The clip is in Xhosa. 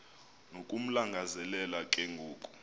nokumlangazelela ke ngoku